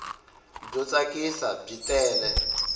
byo tsakisa byi tele